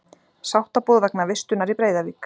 Sáttaboð vegna vistunar í Breiðavík